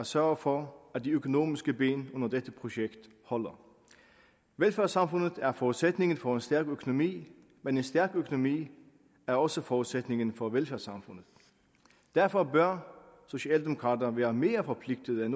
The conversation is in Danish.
sørge for at de økonomiske ben under dette projekt holder velfærdssamfundet er forudsætningen for en stærk økonomi men en stærk økonomi er også forudsætningen for velfærdssamfundet derfor bør socialdemokrater være mere forpligtede